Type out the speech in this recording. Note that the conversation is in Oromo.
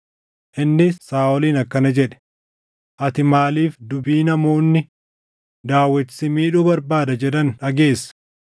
Innis Saaʼoliin akkana jedhe; “Ati maaliif dubbii namoonni, ‘Daawit si miidhuu barbaada’ jedhan dhageessa?